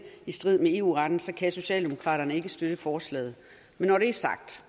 i strid med eu retten så kan socialdemokraterne ikke støtte forslaget men når det er sagt